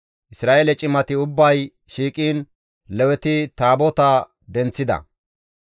Isra7eele cimati ubbay shiiqiin Leweti Taabotaa denththida.